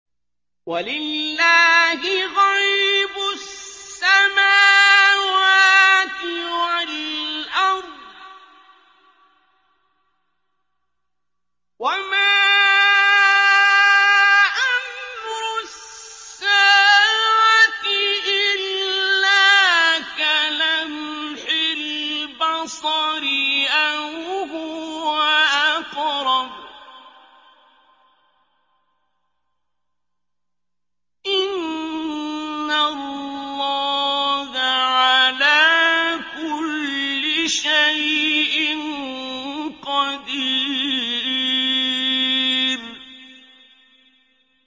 وَلِلَّهِ غَيْبُ السَّمَاوَاتِ وَالْأَرْضِ ۚ وَمَا أَمْرُ السَّاعَةِ إِلَّا كَلَمْحِ الْبَصَرِ أَوْ هُوَ أَقْرَبُ ۚ إِنَّ اللَّهَ عَلَىٰ كُلِّ شَيْءٍ قَدِيرٌ